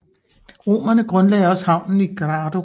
Romerne grundlagde også havnen i Grado